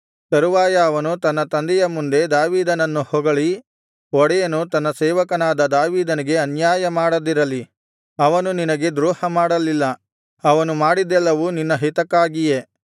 ತರುವಾಯ ಅವನು ತನ್ನ ತಂದೆಯ ಮುಂದೆ ದಾವೀದನನ್ನು ಹೊಗಳಿ ಒಡೆಯನು ತನ್ನ ಸೇವಕನಾದ ದಾವೀದನಿಗೆ ಅನ್ಯಾಯ ಮಾಡದಿರಲಿ ಅವನು ನಿನಗೆ ದ್ರೋಹ ಮಾಡಲಿಲ್ಲ ಅವನು ಮಾಡಿದ್ದೆಲ್ಲವೂ ನಿನ್ನ ಹಿತಕ್ಕಾಗಿಯೇ